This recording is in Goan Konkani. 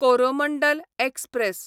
कोरोमंडल एक्सप्रॅस